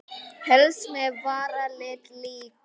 Helst með varalit líka.